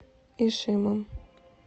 ишимом